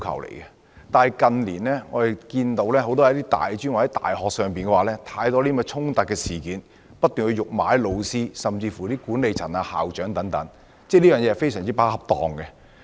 可是，近年我們看到大專院校多次發生學生辱罵老師、管理層及校長等事件，學生的行為極不恰當。